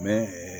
Bɛ